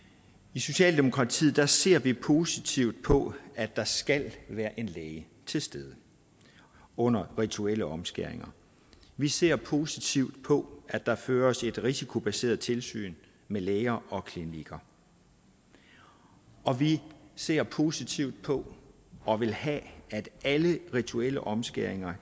i socialdemokratiet ser vi positivt på at der skal være en læge til stede under rituelle omskæringer vi ser positivt på at der føres et risikobaseret tilsyn med læger og klinikker og vi ser positivt på og vil have at alle rituelle omskæringer